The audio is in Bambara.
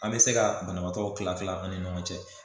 An me se ga banabaatɔ kila kila an ni ɲɔgɔn cɛ